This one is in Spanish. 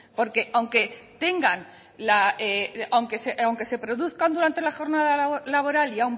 porque aunque se produzcan durante la jornada laboral